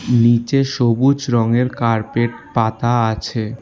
নীচে সবুজ রঙের কার্পেট পাতা আছে।